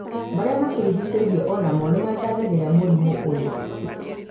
marĩa matũricicĩirie onamo nĩmacangagĩra mũrimũ ũyũ